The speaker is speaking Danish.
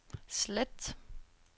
slet